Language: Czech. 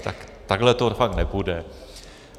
Tak takhle to fakt nepůjde.